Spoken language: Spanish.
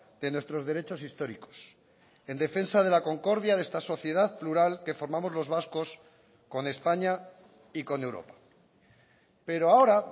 de nuestros derechos históricos en defensa de la concordia de esta sociedad plural que formamos los vascos con españa y con europa pero ahora